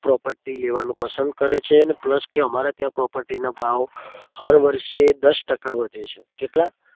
property લેવાનું પસંદ કરે છે અને plus અમારે ત્યાં property નો ભાવ હર વર્ષે દસ ટકા વધે છે.